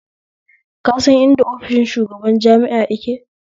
Ka san idan ofishin shugaban jami'a yake?